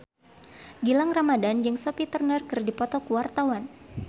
Gilang Ramadan jeung Sophie Turner keur dipoto ku wartawan